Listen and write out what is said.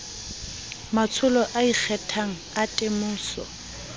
matsholo a ikgethang a temoso